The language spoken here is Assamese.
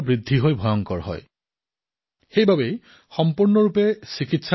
সেয়ে ইয়াৰ সম্পূৰ্ণ উপচাৰ অতিশয় আৱশ্যক